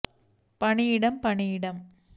பணியிடம் பணியிடம்